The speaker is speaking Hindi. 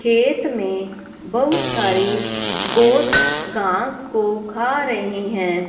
खेत में बहुत सारे गोट्स घास को खा रही हैं।